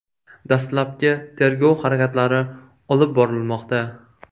Dastlabki tergov harakatlari olib borilmoqda.